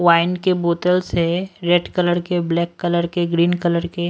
wine के बोतल्स है रेड कलर के ब्लैक कलर के ग्रीन कलर के--